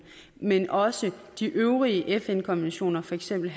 men også de øvrige fn konventioner for eksempel